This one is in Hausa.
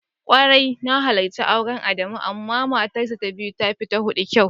Kwarai na halarci auren Adamu amma fa matarshi ta biyu tafi ta hudun kyau.